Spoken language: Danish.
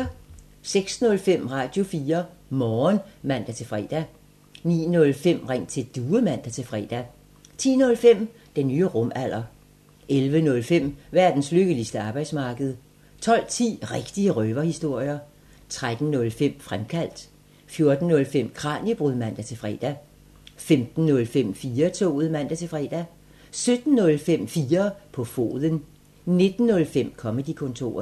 06:05: Radio4 Morgen (man-fre) 09:05: Ring til Due (man-fre) 10:05: Den nye rumalder 11:05: Verdens lykkeligste arbejdsmarked 12:10: Rigtige røverhistorier 13:05: Fremkaldt 14:05: Kraniebrud (man-fre) 15:05: 4-toget (man-fre) 17:05: 4 på foden 19:05: Comedy-kontoret